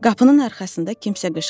Qapının arxasında kimsə qışqırdı.